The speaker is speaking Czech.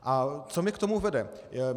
A co mě k tomu vede?